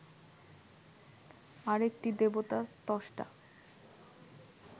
আর একটি দেবতা ত্বষ্টা